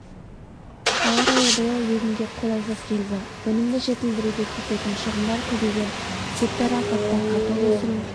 ауа райы биыл егінге қолайсыз келді өнімді жетілдіруге кететін шығындар көбейген гектар алқапта картоп өсіру